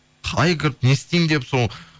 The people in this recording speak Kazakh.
қалай кіріп не істеймін деп соны